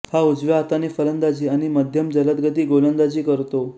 हा उजव्या हाताने फलंदाजी आणि मध्यमजलदगती गोलंदाजी करतो